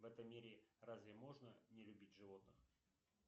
в этом мире разве можно не любить животных